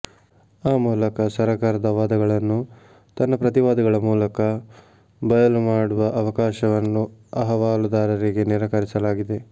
ಆ ಮೂಲಕ ಸರ್ಕಾರದ ವಾದಗಳನ್ನು ತನ್ನ ಪ್ರತಿವಾದಗಳ ಮೂಲಕ ಬಯಲು ಮಾಡುವ ಅವಕಾಶವನ್ನು ಅಹವಾಲುದಾರರಿಗೆ ನಿರಾಕರಿಸಲಾಗಿದೆ